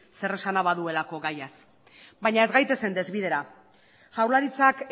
zeresana baduelako gaiaz baina ez gaitezen desbideratu jaurlaritzak